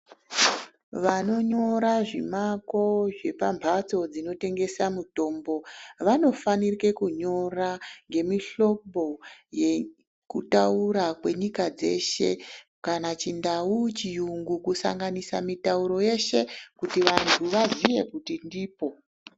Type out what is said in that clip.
Vanonyora zvimako zvepambatso dzinotengesa mitombo vanofana kunyora nemihlobo unotaura nenyika dzeshe kana chindau chirungu kusanganisa mutauro yeshe kuti vantu vazive kuti ndipo.